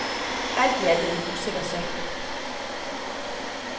Alt i alt er det en usikker sag.